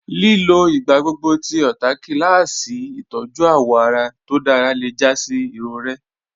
Lílọ̀ igbàgbọ́gbọ̀ tí ọ̀táàké làásì itọ̀jú awọ́ ará tó dára lẹ́ já sí irọ̀rẹ̀.